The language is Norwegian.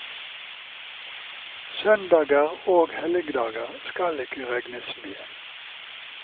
Søndager og helligdager skal ikke regnes med.